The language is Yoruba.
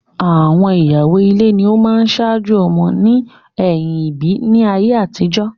Àwọn ìyàwó ile ni ọ máa ń saájò ọmọ ní ẹ̀yìm ìbí ní ayé àtijọ́